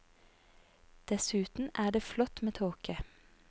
Dessuten er det flott med tåke.